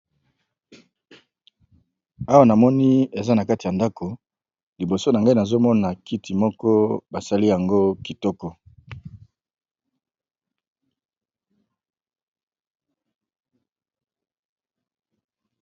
awa na moni eza na kati ya ndako liboso na ngai nazomona kiti moko basali yango kitoko